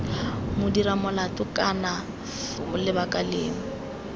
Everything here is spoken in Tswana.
modiramolato kana f lebaka lengwe